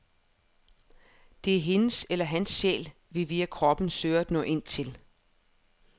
Det er hendes eller hans sjæl, vi via kroppen søger at nå ind til.